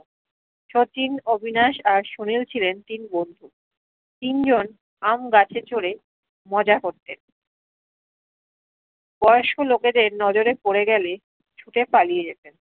শচীন অবিনাস আর সোহেল ছিলেন তিন বন্ধু তিনজন আম গাছে চড়ে মজা করতেন বয়স্ক লোকেদের নজরে পরে গেলে ছুটে পালিয়ে যেতেন